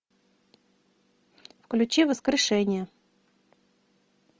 включи воскрешение